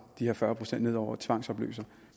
de her fyrre procent ned over og tvangsopløser